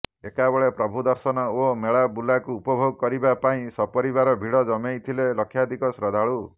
ଏକାବେଳେ ପ୍ରଭୁ ଦର୍ଶନ ଓ ମେଳା ବୁଲାକୁ ଉପଭୋଗ କରିବା ପାଇଁ ସପରିବାର ଭିଡ଼ ଜମେଇଥିଲେ ଲକ୍ଷାଧିକ ଶ୍ରଦ୍ଧାଳୁ